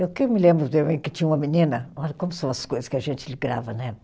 Eu que me lembro que tinha uma menina, olha como são as coisas que a gente grava, né?